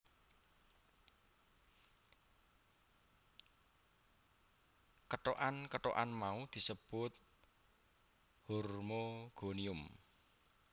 Kethokan kethokan mau disebut hormogonium